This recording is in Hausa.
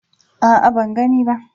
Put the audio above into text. A'a, ban gani ba.